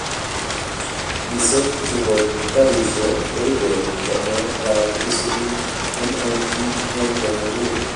Wiseek che bo karishe koibe chamee kab isubii nng ngony komugul.